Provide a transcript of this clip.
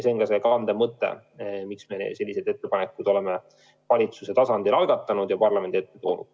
See on see kandev mõte, miks me sellised ettepanekud oleme valitsuse tasandil algatanud ja parlamendi ette toonud.